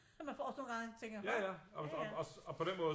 Man får sådan nogle gange man tænker nå ja ja